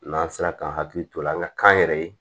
N'an sera k'an hakili to o la an ka kan yɛrɛ ye